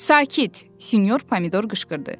Sakit, sinyor Pomidor qışqırdı.